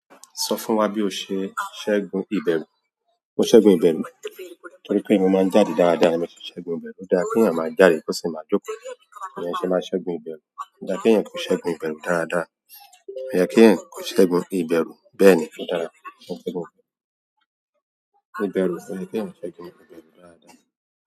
Sọ fún wa bí o ṣe ṣẹ́gun ìbẹ̀rù. O ṣẹ́gun ìbẹ̀rù? Torí pé mo máa ń jáde dáadáa, èmi ti ṣẹ́gun ìbẹ̀rù. Óda kí èèyàn máa jáde kò sì máa dóko. Èèyàn ṣe máa ṣẹ́gun ìbẹ̀rù. Óda kí èèyàn kò ṣẹ́gun ìbẹ̀rù dáadáa. Èèyàn kí èèyàn kò ṣẹ́gun ìbẹ̀rù bẹ́ẹ̀ ni. Ìbẹ̀rù, èèyàn kí èèyàn kò ṣẹ́gun ìbẹ̀rù dáadáa.